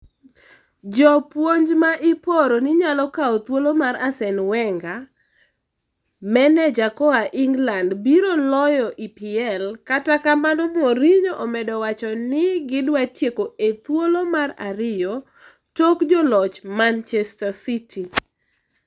Jopuonj ma iporo ni nyalo kaw thuolo mar Arsene Wenger. Wenger: Maneja koa England biro loyo EPL kata kamano Mourinho omedo wacho ni gi dwa tieko e thuolo mar ariyo tok joloch Manchester City.